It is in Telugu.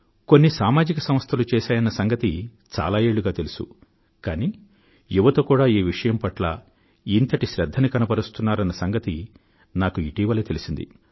కొన్ని సామాజిక సంస్థలు చేస్తాయన్న సంగతి చాల ఏళ్ళుగా తెలుసు కానీ యువత కూడా ఈ విషయం పట్ల ఇంతటి శ్రధ్ధను తీసుకొంటున్నారన్న సంగతి నాకు ఇటీవలే తెలిసింది